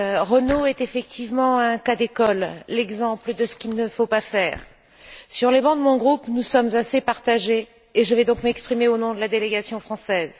Renault est effectivement un cas d'école, l'exemple de ce qu'il ne faut pas faire. Sur les bancs de mon groupe, nous sommes assez partagés et je vais donc m'exprimer au nom de la délégation française.